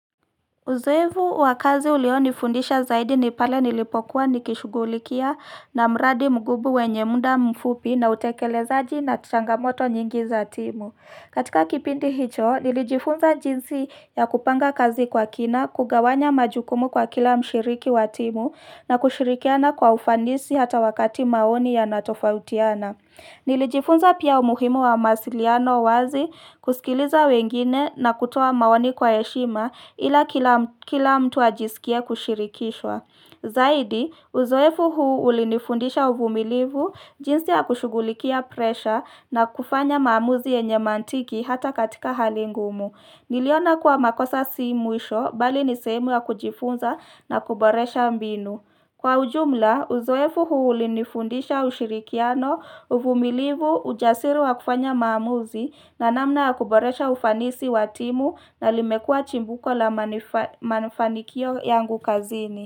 Uzoevu wa kazi ulionifundisha zaidi ni pale nilipokuwa nikishughulikia na mradi mgubu wenye muda mfupi na utekelezaji na tu changamoto nyingi za timu. Katika kipindi hicho, nilijifunza jinsi ya kupanga kazi kwa kina, kugawanya majukumu kwa kila mshiriki wa timu na kushirikiana kwa ufanisi hata wakati maoni yanatofautiana. Nilijifunza pia umuhimu wa mawasiliano wazi kusikiliza wengine na kutoa maoni kwa heshima ila kila mtu ajisikie kushirikishwa. Zaidi, uzoefu huu ulinifundisha uvumilivu, jinsi ya kushugulikia presha na kufanya maamuzi yenye mantiki hata katika hali ngumu. Niliona kuwa makosa si mwisho bali ni sehemu ya kujifunza na kuboresha mbinu. Kwa ujumla, uzoefu huu ulinifundisha ushirikiano uvumilivu ujasiri wa kufanya maamuzi na namna ya kuboresha ufanisi wa timu na limekua chimbuko la manifanikio yangu kazini.